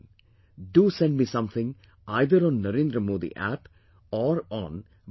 Do send me something, either on 'Narendra Modi app' or on MYGOV